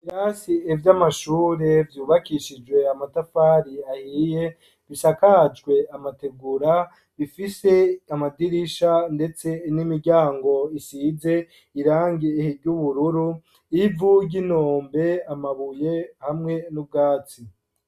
Ibirasi vy'amashure, vyubakishijwe amatafari, ahiye, bisakajwe amategura; bifise amadirisha, ndetse n'imiryango, isize irangi ry'ubururu; ivu ry'inombe, amabuye, hamwe n'ubwatsi.